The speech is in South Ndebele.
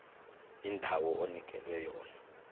indawo onikelwe yona